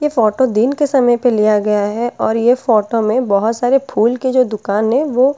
ये फोटो दिन के समय पर लिया गया है और ये फोटो में बहुत सारे फूल की जो दुकान है वो --